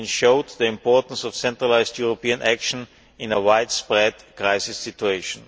It showed the importance of centralised European action in a widespread crisis situation.